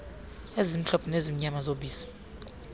ezimhlophe namnyama zobisi